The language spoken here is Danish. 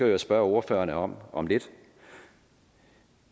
jo spørge ordførerne om om lidt